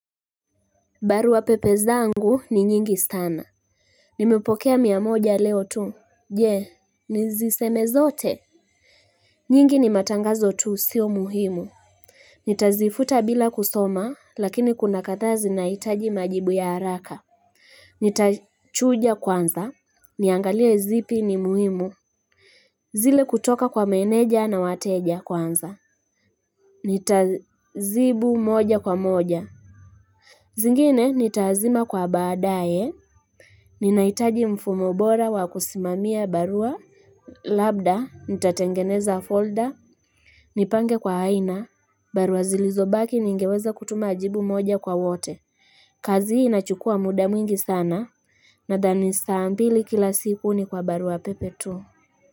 Barua pepe zangu ni nyingi sana nimepokea mia moja leo tu je niziseme zote nyingi ni matangazo tu sio muhimu nitazifuta bila kusoma lakini kuna kadhaa zinahitaji majibu ya haraka nitachuja kwanza niangalie zipi ni muhimu zile kutoka kwa meneja na wateja kwanza nitazibu moja kwa moja zingine nitaazima kwa baadaye Ninaitaji mfumo bora wa kusimamia barua Labda, nitatengeneza folder Nipange kwa aina barua zilizobaki ningeweza kutuma jibu moja kwa wote kazi hii inachukua muda mwingi sana Nadhani saa mbili kila siku ni kwa barua pepe tu.